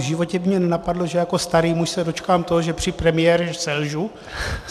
V životě by mě nenapadlo, že jako starý muž se dočkám toho, že při premiéře selžu.